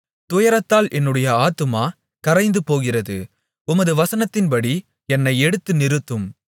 துயரத்தால் என்னுடைய ஆத்துமா கரைந்து போகிறது உமது வசனத்தின்படி என்னை எடுத்து நிறுத்தும்